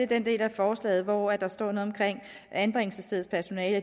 den del af forslaget hvor der står noget om anbringelsesstedets personale